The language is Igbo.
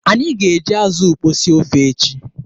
Anyị ga-eji azụ ukpo sie ofe echi.